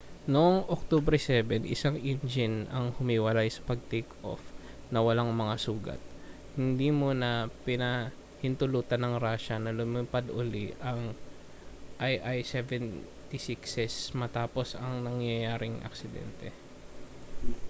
noong oktubre 7 isang engine ang humiwalay sa pag takeoff ng walang mga sugat hindi muna pinahintulutan ng russia na lumipad uli ang ii-76s matapos ang nangyaring aksidente